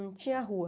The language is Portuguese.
Não tinha rua.